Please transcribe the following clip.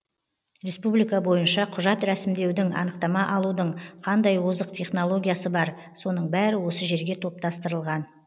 республика бойынша құжат рәсімдеудің анықтама алудың қандай озық технологиясы бар соның бәрі осы жерге топтастырылған